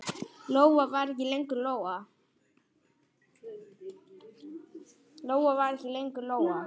Lóa var ekki lengur Lóa.